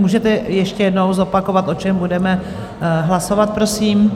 Můžete ještě jednou zopakovat, o čem budeme hlasovat, prosím?